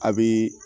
A bi